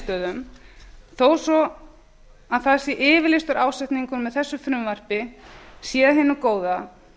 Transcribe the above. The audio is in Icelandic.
í lokaniðurstöðum þó svo það sé yfirlýstur ásetningur með þessu frumvarpi sé af hinu góða